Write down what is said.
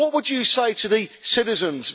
What would you say to the citizens?